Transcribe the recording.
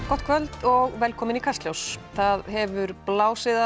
gott kvöld og velkomin í Kastljós það hefur blásið